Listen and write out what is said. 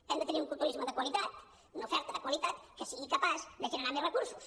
hem de tenir un turisme de qualitat una oferta de qualitat que sigui capaç de generar més recursos